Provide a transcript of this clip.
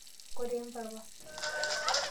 koree mpapa?